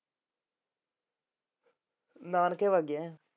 ਨਾਨਕੇ ਵੱਗ ਗਈ ਹੈ।